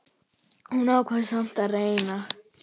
Hún ákvað samt að reyna.